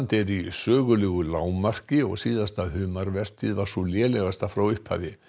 er í sögulegu lágmarki og síðasta humarvertíð var sú lélegasta frá upphafi